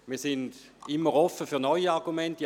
Wir sind immer offen für neue Argumente.